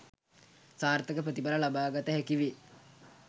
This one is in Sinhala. සාර්ථක ප්‍රතිඵල ලබාගත හැකි වේ